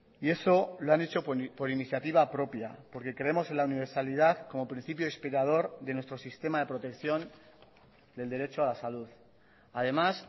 y eso lo han hecho por iniciativa propia porque creemos en la universalidad como principio inspirador de nuestro sistema de protección del derecho a la salud además